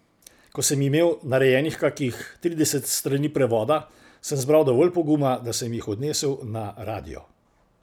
Ko sem imel narejenih kakih trideset strani prevoda, sem zbral dovolj poguma, da sem jih odnesel na radio.